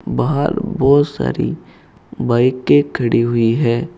बाहर बहुत सारी बाइके के खड़ी हुई है।